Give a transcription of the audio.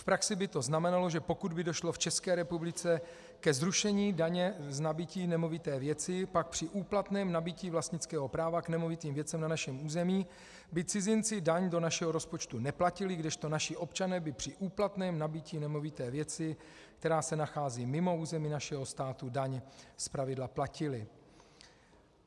V praxi by to znamenalo, že pokud by došlo v České republice ke zrušení daně z nabytí nemovité věci, pak při úplatném nabytí vlastnického práva k nemovitým věcem na našem území by cizinci daň do našeho rozpočtu neplatili, kdežto naši občané by při úplatném nabytí nemovité věci, která se nachází mimo území našeho státu, daň zpravidla platili.